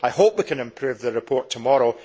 I hope we can improve the report tomorrow.